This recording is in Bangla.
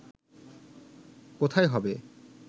কোথায় হবে